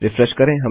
refresh करें